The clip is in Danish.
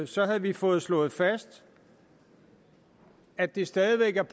så havde vi fået slået fast at det stadig væk er